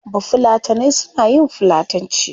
Bafulatanai suna yin fulatanci